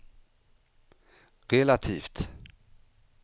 relativt